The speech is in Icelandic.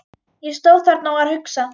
Ég stóð þarna og var að hugsa.